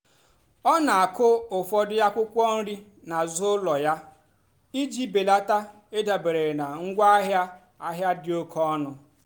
ọ́ nà-àkụ́ ụ́fọ̀dụ́ ákwụ́kwọ́ nrì n'àzụ́ ụ́lọ̀ yá ìjì bèlátá ị́dàbérè nà ngwáàhịá àhịá dì óké ónú.